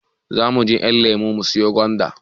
Zamuje ƴanlemo siyo gwanda